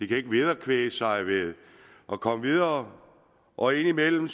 kan ikke vederkvæge sig og komme videre og indimellem